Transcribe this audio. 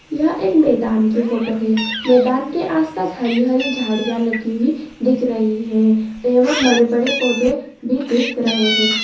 यह एक मैदान की फोटो है मैदान के आस-पास हरी-हरी झाड़ियां लगी हुई दिख रही है एवम् बड़े-बड़े पौधे भी दिख रहे हैं।